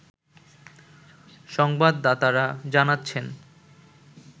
সংবাদদাতারা জানাচ্ছেন